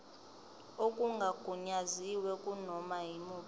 okungagunyaziwe kunoma yimuphi